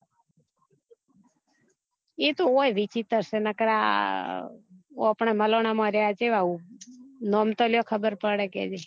એ તો ઓય વિચિત્ર છે ન કર આ આપના માલોના માં રહ્યા ચેવા નામે તો લો ખબર પડે